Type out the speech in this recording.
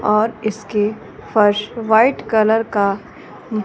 और इसके first white colour का--